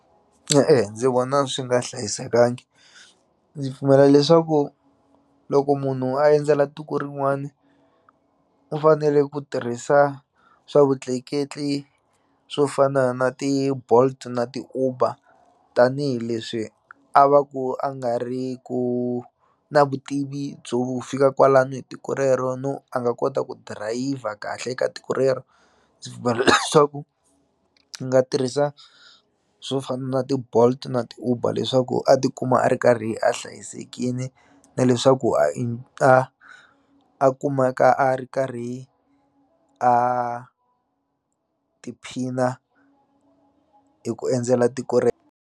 ndzi vona swi nga hlayisekangi ndzi pfumela leswaku loko munhu a endzela tiko rin'wani u fanele ku tirhisa swa vutleketli swo fana na ti-Bolt na ti-Uber tanihileswi a va ku a nga ri ku na vutivi byo fika kwalano hi tiko rero no a nga kota ku dirayivha kahle ka tiko rero ndzi pfumela leswaku i nga tirhisa swo fana na ti-Bolt na ti-Uber leswaku a tikuma a ri karhi a hlayisekini na leswaku a a a kumeka a ri karhi a tiphina hi ku endzela tiko rero.